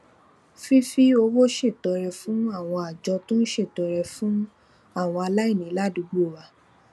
fífi owó ṣètọrẹ fún àwọn àjọ tó ń ṣètọrẹ fún àwọn aláìní ládùúgbò wa